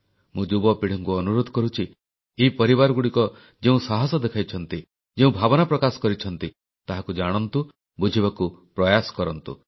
ମୁଁ ଯୁବପିଢ଼ିଙ୍କୁ ଅନୁରୋଧ କରୁଛି ଏହି ପରିବାରଗୁଡ଼ିକ ଯେଉଁ ସାହସ ଦେଖାଇଛନ୍ତି ଯେଉଁ ଭାବନା ପ୍ରକାଶ କରିଛନ୍ତି ତାହାକୁ ଜାଣନ୍ତୁ ବୁଝିବାର ପ୍ରୟାସ କରନ୍ତୁ